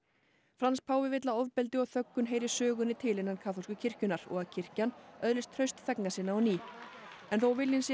Frans páfi vill að ofbeldi og þöggun heyri sögunni til innan kaþólsku kirkjunnar og að kirkjan öðlist traust þegna sinna á ný en þó viljinn sé